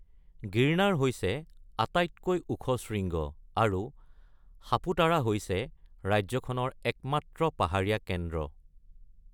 গিৰ্নাৰ হৈছে আটাইতকৈ ওখ শৃংগ, আৰু সাপুতাৰা হৈছে ৰাজ্যখনৰ একমাত্ৰ পাহাৰীয়া কেন্দ্ৰ (পাহাৰৰ শিখৰত থকা ৰিজৰ্ট)।